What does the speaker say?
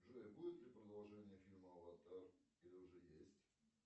джой будет ли продолжение фильма аватар или уже есть